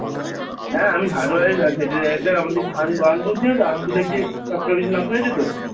হ্যাঁ আমি Hardware এর আমাদের আন্দুল চেনোতো আন্দুলের যে নাম শুনেছ তো?